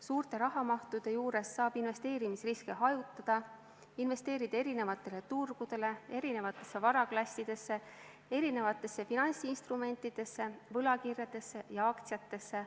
Suurte rahamahtudega saab investeerimisriske hajutada, investeerida eri turgudele, eri varaklassidesse, eri finantsinstrumentidesse, võlakirjadesse ja aktsiatesse.